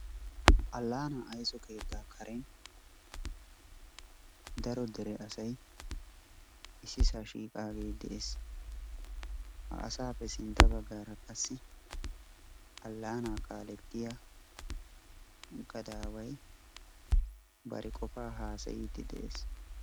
Aanna aysso keetta karen daro daro asay ississaa shiiqaage de'ees. Ha asappe sintta baggaara qassi alaana kaaletiya gadaway bari qofa hasaydde de'ees.